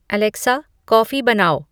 Alexa coffee बनाओ